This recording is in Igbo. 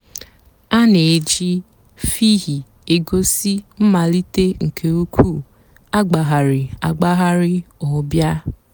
a nà-èjì fhịhị gósì mmàlítè nke ǔ́kwụ̀ àgbàghàrì àgbàghàrì ọ̀ bịa.